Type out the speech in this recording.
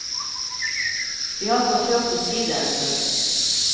Vi har forsøkt å si det en stund.